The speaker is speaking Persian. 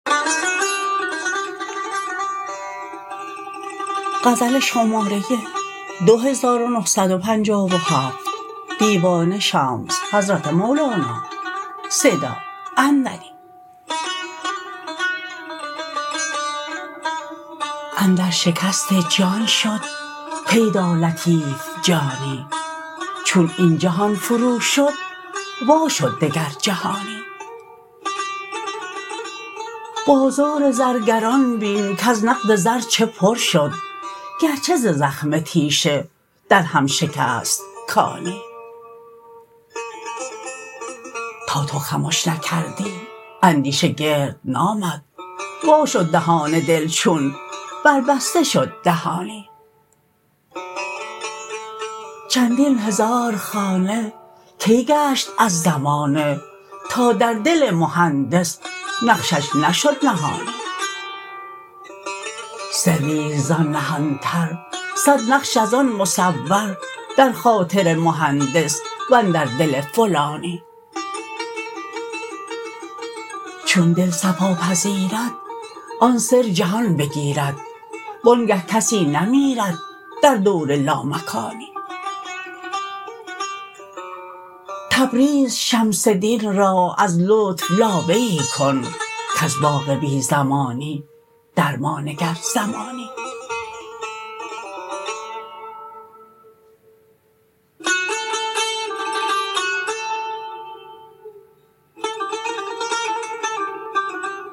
اندر شکست جان شد پیدا لطیف جانی چون این جهان فروشد وا شد دگر جهانی بازار زرگران بین کز نقد زر چه پر شد گرچه ز زخم تیشه درهم شکست کانی تا تو خمش نکردی اندیشه گرد نامد وا شد دهان دل چون بربسته شد دهانی چندین هزار خانه کی گشت از زمانه تا در دل مهندس نقشش نشد نهانی سری است زان نهانتر صد نقش از آن مصور در خاطر مهندس و اندر دل فلانی چون دل صفا پذیرد آن سر جهان بگیرد وآنگه کسی نمیرد در دور لامکانی تبریز شمس دین را از لطف لابه ای کن کز باغ بی زمانی در ما نگر زمانی